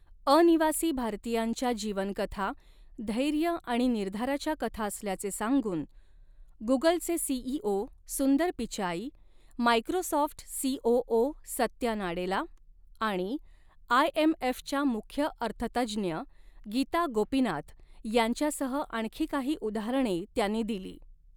अनिवासी भारतीयांच्या जीवनकथा धैर्य आणि निर्धाराच्या कथा असल्याचे सांगून गुगलचे CEO Sundar Pichai, Microsoft COO Satya Nadella आणि आयएमएफच्या मुख्य अर्थतज्ज्ञ गीता गोपीनाथ यांच्यासह आणखी काही उदाहरणे त्यांनी दिली.